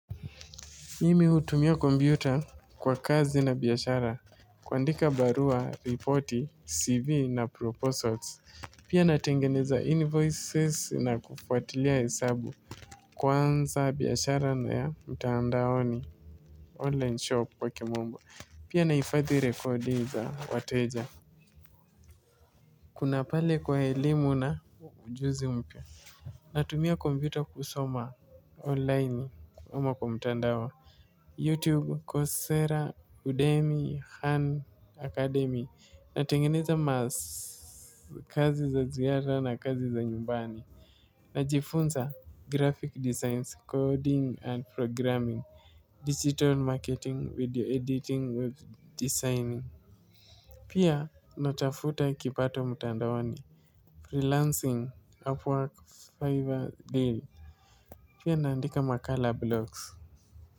Mimi hutumia kompyuta kwa kazi na biashara. Kuandika barua, ripoti, CV na proposals. Pia natengeneza invoices na kufuatilia hesabu. Kwanza biashara na ya mtandaoni online shop kwa kimombo. Pia nahifadhi rekodi za wateja. Kuna pale kwa elimu na ujuzi mpya. Natumia kompiuta kusoma online ama kwa mtandao. Youtube coursera uddemy academia natengeneza kazi za ziada na kazi za nyumbani. Najifunza graphic designs, coding and programming. Digital marketing, video editing, designing. Pia natafuta kipato mtandaoni. Freelancing, Upwork, Fiver, Deal. Pia naandika makala blogs.